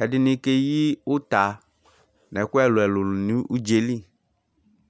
ɛɖɩnɩ keƴi ʋta nʋ ɛƙʋ ɛlʋɛlʋ nɩ nʋ ʋɖza ƴɛli